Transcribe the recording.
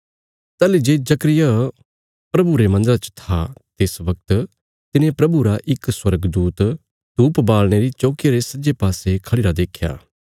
ताहली जे जकर्याह प्रभुरे मन्दरा च था तिस बगत तिने प्रभुरा इक स्वर्गदूत ‌धूप बालणे री चौकिया रे सज्जे पासे खढ़िरा देख्या